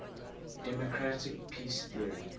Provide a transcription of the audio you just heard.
democratic peace theory